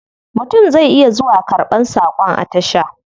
Mutum zai iya zuwa karban sakon a tasha.